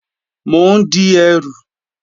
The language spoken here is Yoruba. Mò ń di ẹrù